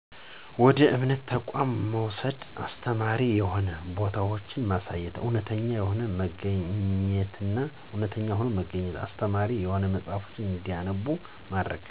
ወደ እምነት ተቋማት መውሰድ፣ አስተማሪ የሆኑ ቦታወችማሳየት፣ እውነተኛ ሆኖ መገኝት፣ አስተማሪ የሆኑ መጸሐፍቶችን እንዲያነቡ ማድረግ።